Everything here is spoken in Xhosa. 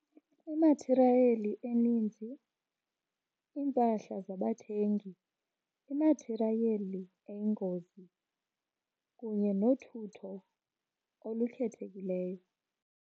Imathirayeli eninzi, iimpahla zabathengi, imathirayeli eyingozi kunye nothutho olukhethekileyo.